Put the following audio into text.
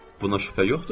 Buna şübhə yoxdur?